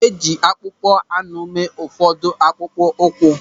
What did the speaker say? E ji akpụkpọ anụ mee ụfọdụ akpụkpọ ụkwụ.